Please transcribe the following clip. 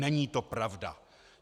Není to pravda.